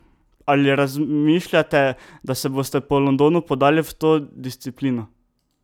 Ali razmišljate, da se boste po Londonu podali v to disciplino?